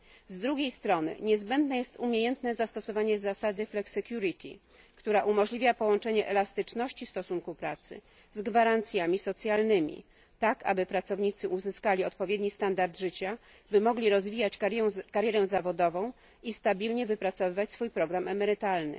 Z drugiej strony niezbędne jest umiejętne zastosowanie zasady flexicurity która umożliwia połączenie elastyczności stosunku pracy z gwarancjami socjalnymi, tak aby pracownicy uzyskali odpowiedni standard życia, by mogli rozwijać karierę zawodową i stabilnie wypracowywać swój program emerytalny.